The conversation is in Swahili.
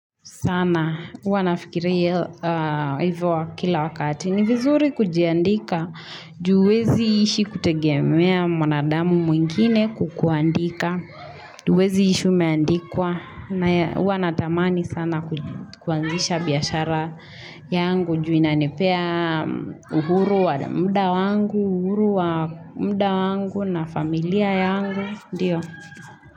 Sana, uwa nafikiri hivyo kila wakati. Ni vizuri kujiandika. Juwezi ishi kutegemea mwanadamu mwingine kukuandika. Juwezi ishi umeandikwa. Na uwa natamani sana kuanzisha biyashara yangu. Ju ina nepea uhuru wa mda wangu, uhuru wa mda wangu na familia yangu. Ndiyo.